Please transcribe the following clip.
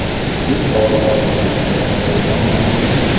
U pora olganlikda ayblanmoqda.